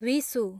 Vishu